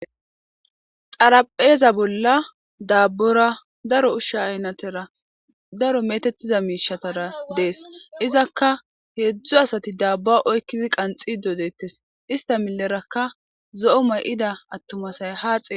xarapheeza bolla daabbora daro ushsha aynatera daro metettiza miishatara dees izakka heedzdzu asati daabba oykkidi qanxi dodettes ista milerakka zo7o may7ida attumasay haaxe